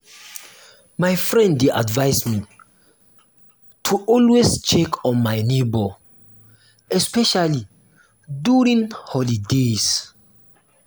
my friend dey advise me to always check on my neighbor especially during holidays.